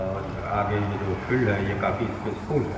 और य आगे ये जो फील्ड है ये काफ़ी सपेस्फुल है।